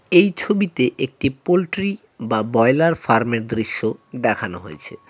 এই ছবিতে একটি পোল্ট্রি বা বয়লার ফার্ম এর দৃশ্য দেখানো হয়েছে।